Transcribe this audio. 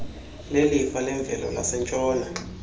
lelifa lemvelo lasentshona